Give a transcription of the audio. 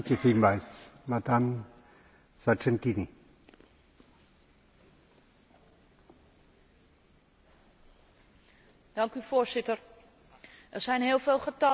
Voorzitter, er zijn heel veel getallen over tafel gegaan vandaag en we kennen ze allemaal de twee miljoen vluchtelingen buiten Syrië, de vier miljoen vluchtelingen ín Syrië,